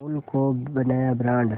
अमूल को बनाया ब्रांड